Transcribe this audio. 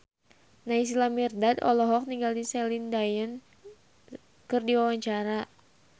Naysila Mirdad olohok ningali Celine Dion keur diwawancara